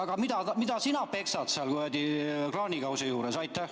Aga mida sina peksad seal kuradi kraanikausi juures?